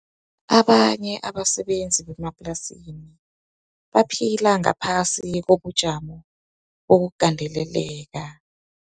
Abanye abasebenzi bemaplasini baphila ngaphasi kobujamo bokugandeleleka.